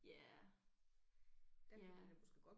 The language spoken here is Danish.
Ja ja